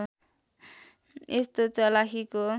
यस्तो चलाखीको